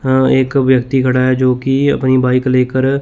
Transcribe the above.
हां एक व्यक्ति खड़ा है जोकि अपनी बाइक लेकर--